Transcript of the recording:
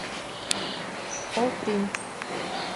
оллпринт